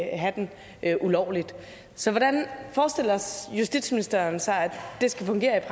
at have den ulovligt så hvordan forestiller justitsministeren sig at det skal fungere i